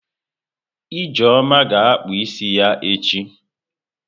Ijeoma ga-akpụ isi ya echi.